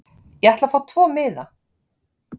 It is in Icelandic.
Ég ætla að fá tvo miða.